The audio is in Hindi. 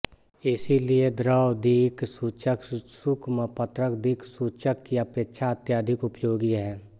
इसीलिए द्रवदिक्सूचक शुष्कपत्रक दिक्सूचक की अपेक्षा अत्यधिक उपयोगी है